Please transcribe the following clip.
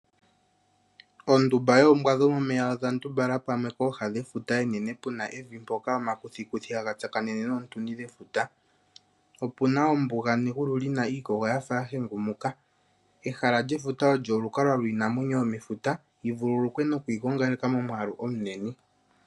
Ondumba yoombwa dhomomeya odha ndumbala pamwe pooha dhefuta enene pu na evi mpoka omakuthikuthi haga tsakanene noontuni dhefuta. Opu na ombuga negulu li na iikogo yafa ya hengumuka ehala lyefuta olyo olukalwa lwiinamwenyo yomefuta yi vululukwe nokwigongaleka momwaalu omunene.